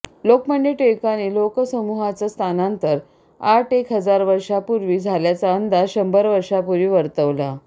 लोकमान्य टिळकांनी लोकसमुहांच स्थानांतर आठ एक हजार वर्षापुर्वी झाल्याचा अंदाज शंभर वर्षांपुर्वी वर्तवला